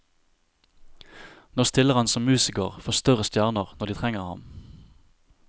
Nå stiller han som musiker for større stjerner når de trenger ham.